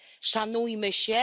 Szanujmy się.